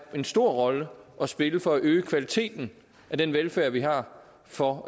en stor rolle at spille for at øge kvaliteten af den velfærd vi har for